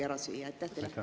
… selle ju vägagi ära süüa.